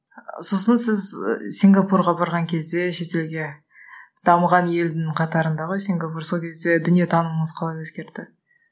сосын сіз сингапурга барған кезде шетелге дамыған елдің қатарында ғой сингапур сол кезде дүниетанымыңыз қалай өзгерді